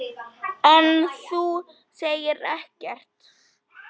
Hann var allur dofinn.